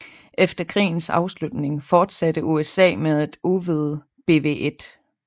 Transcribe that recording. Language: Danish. Efter krigens afslutning fortsatte USA med at udvide BW1